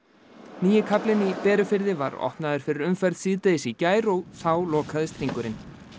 nýi kaflinn í Berufirði var opnaður fyrir umferð síðdegis í gær og þá lokaðist hringurinn